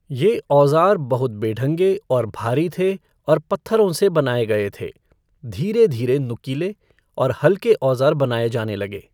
ये औज़ार बहुत बेढंगे और भारी थे और पत्थरों से बनाए गए थे। धीरे धीरे नुकीले और हल्के औज़ार बनाए जाने लगे।